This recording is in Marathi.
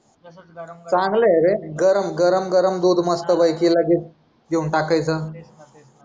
चांगलं आहे रे गरम, गरम गरम दूध मस्तपैकी लगेच घेऊन टाकायचं.